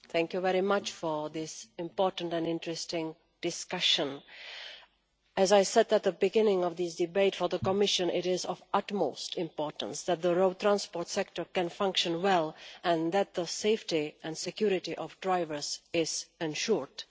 Mr President, I wish to thank the House very much for this important and interesting discussion. As I said at the beginning of this debate, for the Commission it is of the utmost importance that the road transport sector can function well and that the safety and security of drivers is ensured.